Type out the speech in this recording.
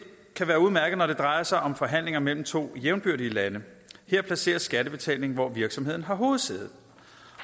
være udmærket når det drejer sig om forhandlinger mellem to jævnbyrdige lande her placeres skattebetalingen hvor virksomheden har hovedsæde